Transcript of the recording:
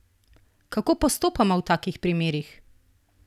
Kako postopamo v takih primerih?